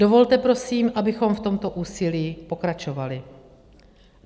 Dovolte prosím, abychom v tomto úsilí pokračovali.